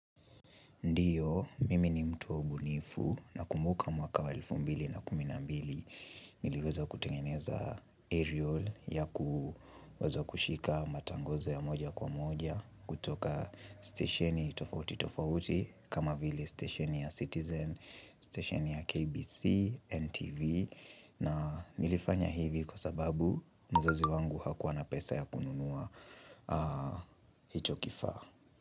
Ndiyo, mimi ni mtu wa ubunifu nakumbuka mwaka wa elfu mbili na kumi na mbili Niliweza kutengeneza aerial ya kuweza kushika matangozo ya moja kwa moja kutoka stasheni tofauti tofauti kama vile stasheni ya Citizen, stasheni ya KBC, NTV na nilifanya hivi kwa sababu mzazi wangu hakuwana pesa ya kununua hicho kifaa.